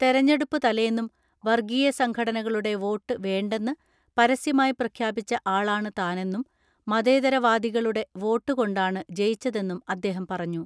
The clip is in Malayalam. തെരഞ്ഞെടുപ്പ് തലേന്നും വർഗീയ സംഘടനകളുടെ വോട്ട് വേണ്ടെന്ന് പരസ്യ മായി പ്രഖ്യാപിച്ച ആളാണ് താനെന്നും മതേതര വാദികളുടെ വോട്ട് കൊണ്ടാണ് ജയിച്ചതെന്നും അദ്ദേഹം പറഞ്ഞു.